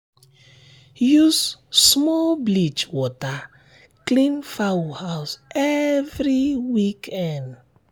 use small bleach water clean fowl house every weekend.